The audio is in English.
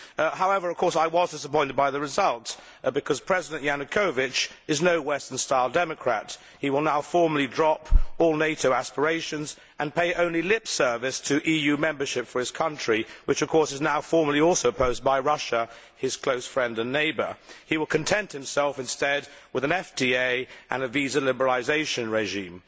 However, I was, of course, disappointed by the result, because President Yanukovich is no Western style democrat. He will now formally drop all NATO aspirations and pay only lip service to EU membership for his country which, of course, is now also formally opposed by Russia, his close friend and neighbour. He will content himself, instead, with an FTA and a visa liberalisation regime.